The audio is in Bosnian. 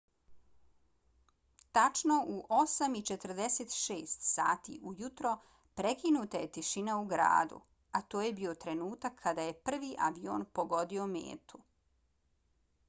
tačno u 8:46 sati ujutro prekinuta je tišina u gradu a to je bio trenutak kada je prvi avion pogodio metu